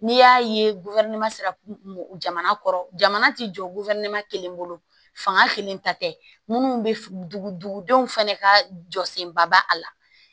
N'i y'a ye jamana kɔrɔ jamana ti jɔ kelen bolo fanga kelen ta tɛ munnu bɛ dugudenw fɛnɛ ka jɔ senba ba a la